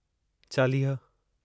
चालीह